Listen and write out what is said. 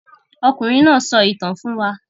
Ọkùnrin náà sọ ìtàn fún wa.